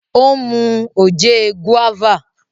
ó mu oje guava.